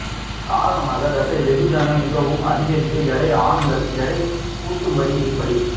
காரணமாக தசை வெகுஜன மிகவும் அதிகரித்த எடை ஆண்கள் எடை கூட்டும்படி எப்படி